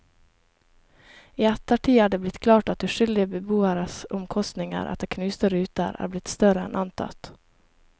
I ettertid er det blitt klart at uskyldige beboeres omkostninger etter knuste ruter er blitt større enn antatt.